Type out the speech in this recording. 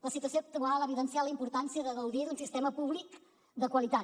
la situació actual ha evidenciat la importància de gaudir d’un sistema públic de qualitat